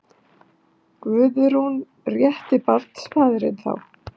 Guðrún: Rétti barnsfaðirinn þá?